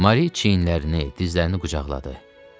Mari çiyinlərini, dizlərini qucaqladı.